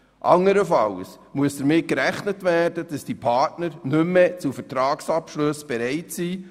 Andernfalls muss damit gerechnet werden, dass die Partner nicht mehr zu Vertragsabschlüssen bereit sind.